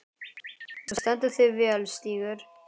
Þú stendur þig vel, Stígur!